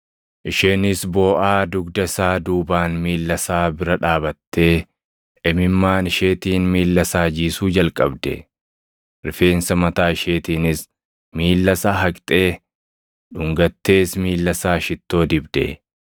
Isheenis booʼaa dugda isaa duubaan miilla isaa bira dhaabattee imimmaan isheetiin miilla isaa jiisuu jalqabde. Rifeensa mataa isheetiinis miilla isaa haqxee, dhungattees miilla isaa shittoo dibde.